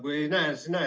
Kui ei näe, siis ei näe.